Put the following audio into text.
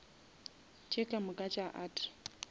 tše ka moka tša art